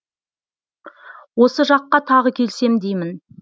осы жаққа тағы келсем деймін